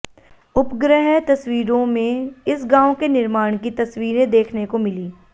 उपग्रह तस्वीरों में इस गांव के निर्माण की तस्वीरें देखने को मिलीं